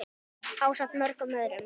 ásamt mörgum öðrum.